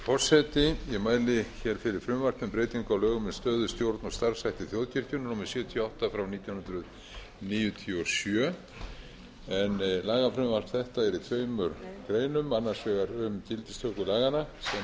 forseti ég mæli fyrir frumvarpi um breytingu á lögum um stöðu stjórn og starfshætti þjóðkirkjunnar númer sjötíu og átta nítján hundruð níutíu og sjö en lagafrumvarp þetta er í tveimur greinum annars vegar um gildistöku laganna sem er þegar